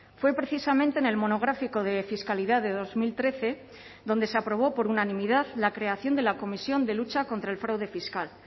fue precisamente en el monográfico de fiscalidad de dos mil trece donde se aprobó por unanimidad la creación de la comisión de lucha contra el fraude fiscal